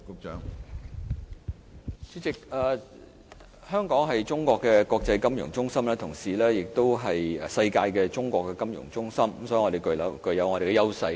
主席，香港是中國的國際金融中心，同時亦是世界的中國金融中心，所以我們具備優勢。